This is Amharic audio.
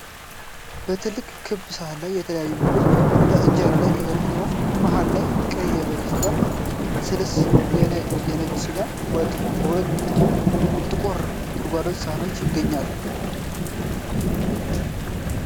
በትልቅ ክብ ሳህን ላይ የተለያዩ ምግቦች በኢንጀራ ላይ ተዘርግተዋል። መሃል ላይ ቀይ የበሬ ስጋ ስልስ እና የነጭ ስጋ ወጥ በሁለት ጥቁር ጎድጓዳ ሳህኖች ይገኛሉ።